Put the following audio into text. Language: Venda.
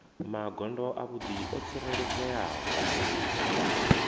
magondo avhuḓi o tsireledzeaho mureili